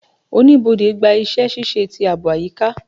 Oníbodè gba iṣẹ-ṣiṣe ti aabo ayika